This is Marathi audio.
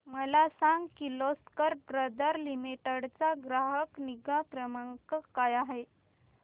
मला सांग किर्लोस्कर ब्रदर लिमिटेड चा ग्राहक निगा क्रमांक काय आहे